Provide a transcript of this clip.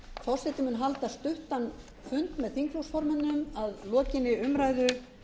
forseti mun halda stuttan fund með þingflokksformönnum að lokinni umræðu